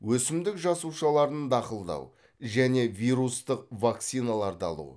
өсімдік жасушаларын дақылдау және вирустық вакциналарды алу